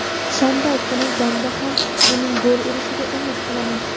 Shanba kungi jangda ham uning gol urishiga umid qilaman;.